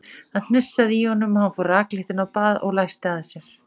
Það hnussaði í honum og hann fór rakleitt inn á bað og læsti að sér.